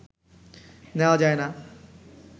নেওয়া যায় না